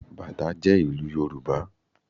Bàtá jẹ́ ìlù yorùbá